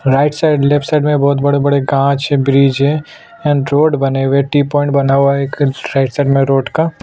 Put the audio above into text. right side left side बहोत बड़े-बड़े घास है ब्रिज एंड रोड बने हुए है टी पॉइंट बना हुआ है एक राइट साइड में रोड का --